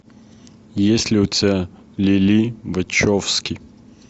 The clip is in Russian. есть ли у тебя лили вачовски